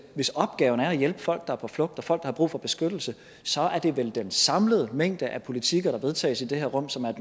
hvis opgaven er at hjælpe folk der er på flugt og folk der har brug for beskyttelse så er det vel den samlede mængde af politikker der vedtages i det her rum som er